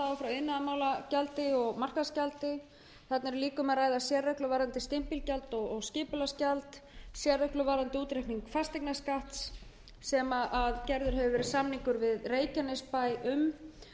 frá iðnaðarmálagjaldi og markaðsgjaldi þarna er líka um að ræða sérreglur varðandi stimpilgjald og skipulagsgjald sérreglur varðandi útreikning fasteignaskatts sem gerður hefur verið samningur um